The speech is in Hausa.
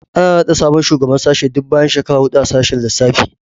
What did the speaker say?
Ana naɗa sabon shugaban sashe duk bayan shekara huɗu a sashen lissafi